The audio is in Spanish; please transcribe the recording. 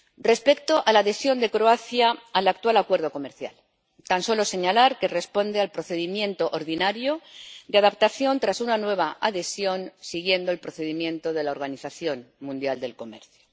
Respecto a la adhesión de Croacia al actual Acuerdo de Asociación, quiero tan solo señalar que responde al procedimiento ordinario de adaptación tras una nueva adhesión, siguiendo el procedimiento de la Organización Mundial del Comercio.